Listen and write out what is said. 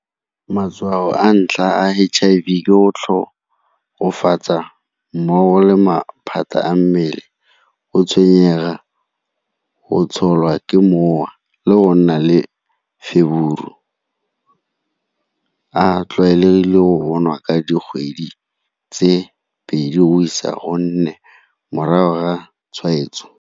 Matshwao a ntlha a H_I_V ke go mmogo le maphata a mmele, go tshwenyega, go tsholwa ke mowa le go nna le a tlwaelegile go bo nwa ka dikgwedi tse pedi o isa go nne morago ga tshwaetso.